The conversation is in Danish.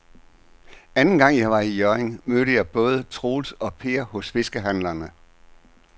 Anden gang jeg var i Hjørring, mødte jeg både Troels og Per hos fiskehandlerne.